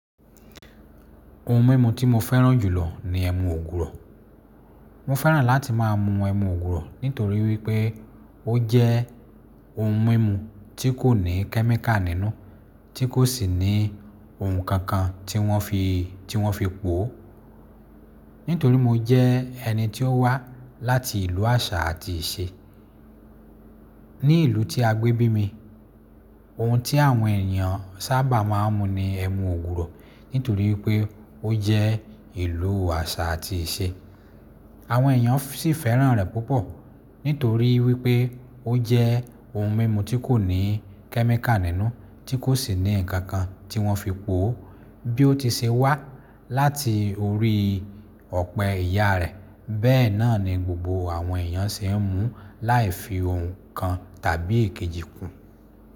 Oun mímu tí mo fẹ́ràn jùlọ ni ẹmu ògùrọ̀. Mo fẹ́ràn láti máa mu ẹmu ògùrọ̀ nítorí wípé ó jẹ́ ohun mímu tí kò ní chemical nínú, tí kò sì ní oun kankan tí wọ́n fi, tí wọ́n fi pò ó. Nítorí mo jẹ́ ẹni tí ó wá láti ìlú àṣà àti ìṣe. Bí ìlú tí a gbé bí mi, oun tí àwọn ènìyàn sábà máa ń mu ni ẹmu ògùrọ̀ nítorí wípé ó jẹ́ ìlú àṣà àti ìṣe. Àwọn èèyàn sì fẹ́ràn rẹ̀ púpọ̀ nítorí wípé ó jẹ́ oun mímu tí kò ní chemical nínú, tí kò sì ní nǹkan kan tí wọ́n fi pò ó. Bí ó ti ṣe wá láti orí ọ̀pẹ ìyá rẹ, bẹ́ẹ̀ náà ni gbogbo àwọn èèyàn ṣe ń mu láì fi oun kan tàbí ikejì kùn.